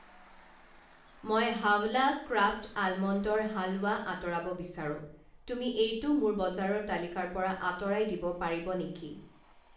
মই হাৱলা ক্ৰাফ্ট আলমণ্ডৰ হালৱা আঁতৰাব বিচাৰো, তুমি এইটো মোৰ বজাৰৰ তালিকাৰ পৰা আঁতৰাই দিব পাৰিব নেকি?